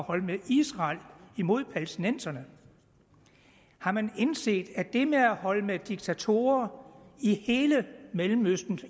holde med israel imod palæstinenserne har man indset at det med at holde med diktatorer i hele mellemøsten